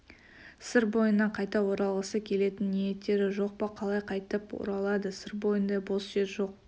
сыр бойына қайта оралғысы келетін ниеттері жоқ па қалай қайтып оралады сыр бойында бос жер жоқ